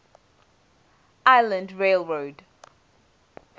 island rail road